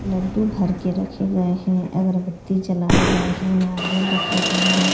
लड्डू भर के रखे गए हैं अगरबत्ती जलाए गए हैं नारियल रखे गए हैं।